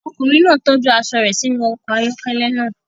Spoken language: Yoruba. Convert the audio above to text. Ọkùnrin náà tọ́jú aṣọ rẹ̀ sínú ọkọ̀ ayọ́kẹ́lẹ́ náà.